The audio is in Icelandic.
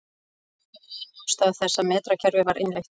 Þetta var ein ástæða þess að metrakerfið var innleitt.